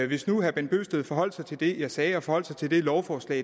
hvis nu herre bent bøgsted forholdt sig til det jeg sagde og forholdt sig til det lovforslag